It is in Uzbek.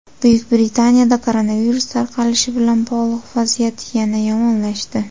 Buyuk Britaniyada koronavirus tarqalishi bilan bog‘liq vaziyat yana yomonlashdi.